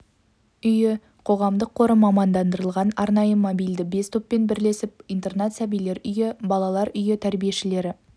үйі қоғамдық қоры мамандандырылған арнайы мобильді бес топпен бірлесіп интернат сәбилер үйі балалар үйі тәрбиешілері